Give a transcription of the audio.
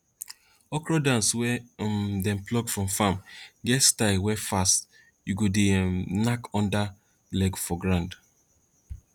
okro dance wey um dem pluck from farm get style wey fast you go dey um knack under leg for ground